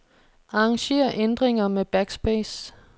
Arranger ændringer med backspace.